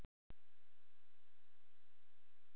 Iðrun getur umhverft illsku í heilagleika.